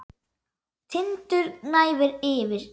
Tindur gnæfir yfir.